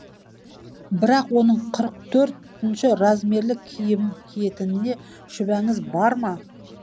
бірақ оның қырық төртінші размерлі киім киетініне шүбәңіз бар ма